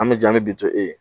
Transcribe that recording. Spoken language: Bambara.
An be jɛn, an be bi to e ye.